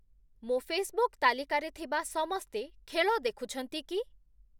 ମୋ ଫେସବୁକ୍ ତାଲିକାରେ ଥିବା ସମସ୍ତେ ଖେଳ ଦେଖୁଛନ୍ତି କି ?